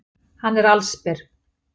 Hann er allsber.